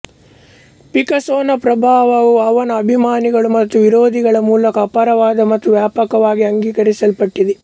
ಪಿಕಾಸೊನ ಪ್ರಭಾವವು ಅವನ ಅಭಿಮಾನಿಗಳು ಮತ್ತು ವಿರೋಧಿಗಳ ಮೂಲಕ ಅಪಾರವಾದ ಮತ್ತು ವ್ಯಾಪಕವಾಗಿ ಅಂಗೀಕರಿಸಲ್ಪಟ್ಟಿದೆ